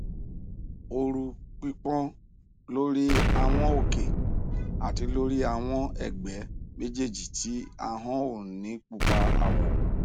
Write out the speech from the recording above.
ooru pipon lori awọn oke ati lori awọn ẹgbẹ mejeeji ti ahọn o ni pupa awọ